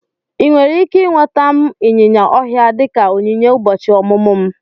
Ị nwere ike nweta m ịnyịnya ọhịa dị ka onyinye ụbọchị ọmụmụ m?